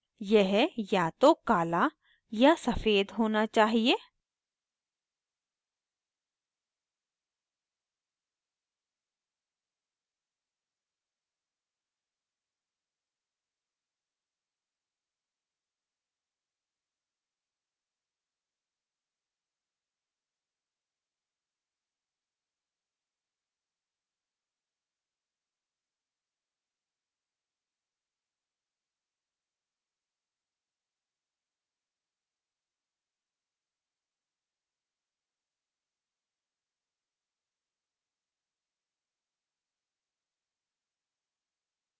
यह या तो काला या सफ़ेद होना चाहिए